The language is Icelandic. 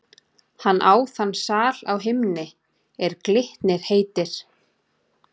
Hann á þann sal á himni, er Glitnir heitir.